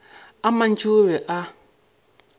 a mantši o be a